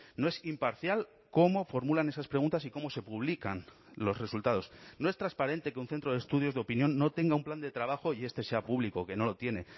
no es imparcial cómo formulan esas preguntas y cómo se publican los resultados no es transparente que un centro de estudios de opinión no tenga un plan de trabajo y este sea público que no lo tiene